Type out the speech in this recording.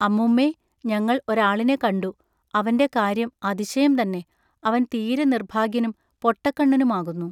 അമ്മുമ്മെ ഞങ്ങൾ ഒരാളിനെ കണ്ടു, അവന്റെ കാര്യം അതിശയം തന്നെ അവൻ തീരെ നിൎഭാഗ്യനും പൊട്ടകണ്ണനുമാകുന്നു.